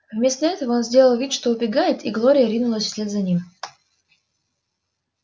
вместо этого он сделал вид что убегает и глория ринулась вслед за ним